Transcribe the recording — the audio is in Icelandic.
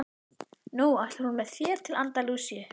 Nú ætlar hún með mér til Andalúsíu.